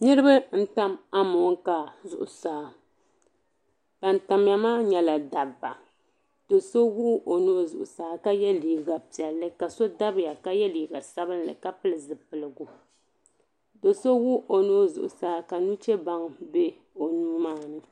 Niriba n tam amonkaa zuɣusaa ban tamya maa nyɛla dabba do'so wuɣi o nuu zuɣusaa ka ye liiga piɛlli ka so dabya ka ye liiga sabinli ka pili zipiligu do'so wuɣi o nuu zuɣusaa ka nuchebaŋa be o nuu maa ni.